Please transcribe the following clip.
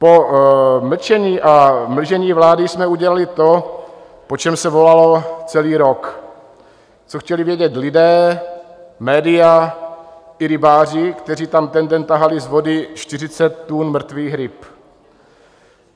Po mlčení a mlžení vlády jsme udělali to, po čem se volalo celý rok, co chtěli vědět lidé, média i rybáři, kteří tam ten den tahali z vody 40 tun mrtvých ryb.